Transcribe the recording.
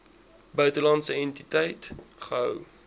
buitelandse entiteit gehou